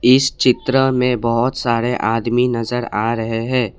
इस चित्र में बहुत सारे आदमी नजर आ रहे हैं।